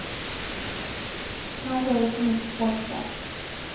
Kanske är det för mycket folk där.